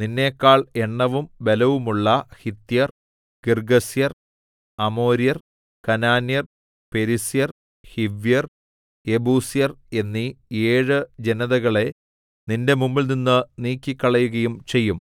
നിന്നെക്കാൾ എണ്ണവും ബലവുമുള്ള ഹിത്യർ ഗിർഗ്ഗസ്യർ അമോര്യർ കനാന്യർ പെരിസ്യർ ഹിവ്യർ യെബൂസ്യർ എന്നീ ഏഴ് ജനതകളെ നിന്റെ മുമ്പിൽനിന്ന് നീക്കിക്കളയുകയും ചെയ്യും